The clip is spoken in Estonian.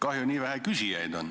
Kahju, et nii vähe küsijaid on.